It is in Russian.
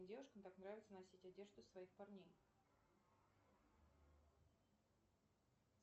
девушкам так нравится носить одежду своих парней